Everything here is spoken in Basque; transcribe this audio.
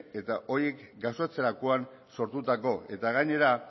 eta horiek gauzatzerakoak sortutako eta gainera